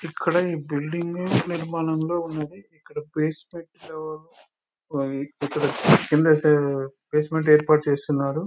ఇక్కడ ఈ బిల్డింగు నిర్మాణంలో ఉంది ఇక్కడ బేస్మెంట్ జోను ఇక్కడ కింద బేస్మెంట్ ఏర్పాటు చేశారు